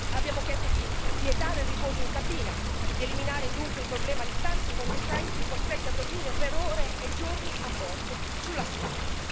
Abbiamo chiesto di vietare il riposo in cabina, di eliminare dunque il problema di tanti conducenti costretti a dormire per ore e giorni a bordo, sulla strada.